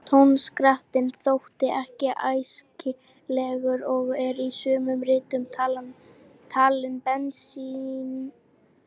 Tónskrattinn þótti ekki æskilegur og er í sumum ritum talinn beinlínis hættulegur.